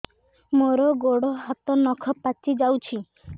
ମୋର ଗୋଡ଼ ହାତ ନଖ ପାଚି ଯାଉଛି